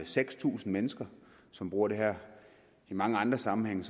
seks tusind mennesker som bruger det her i mange andre sammenhænge